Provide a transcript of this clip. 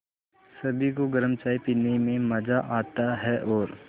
सभी को गरम चाय पीने में मज़ा आता है और